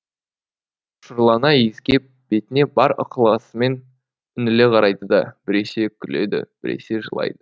құшырлана иіскеп бетіне бар ықыласымен үңіле қарайды да біресе күледі біресе жылайды